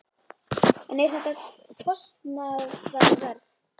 En er þetta kostnaðarverð?